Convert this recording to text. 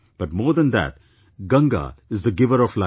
But more than that, Ganga is the giver of life